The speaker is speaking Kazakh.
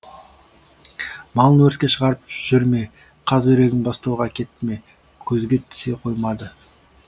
малын өріске шығарып жүр ме қаз үйрегін бастауға әкетті ме көзге түсе қоймады